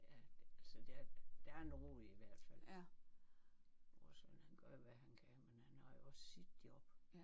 Ja altså der er der er nogle i hvert fald og Søren han gør jo hvad han kan men han har jo også sit job